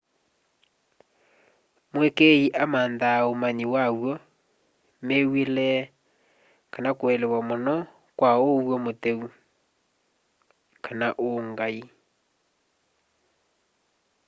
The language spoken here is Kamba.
mũĩkĩi amanthaa ũmanyĩ waw'o mĩw'ĩle kana kũelewa mũno kwa ũw'o mũtheũ/ũngaĩ